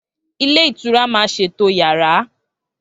Ilé ìtura máa ṣètò yàrá